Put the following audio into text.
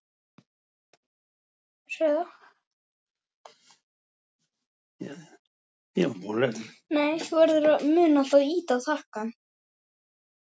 Ef verkfærið nýtist ekki til neinna verka þá hefur það ekkert verðmæti sem slíkt.